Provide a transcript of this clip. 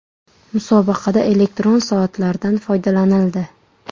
Musobaqada elektron soatlardan foydalanildi.